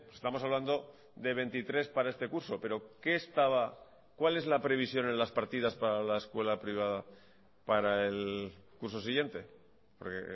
estamos hablando de veintitrés para este curso pero qué estaba cuál es la previsión en las partidas para la escuela privada para el curso siguiente porque